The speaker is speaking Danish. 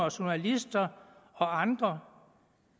journalister og andre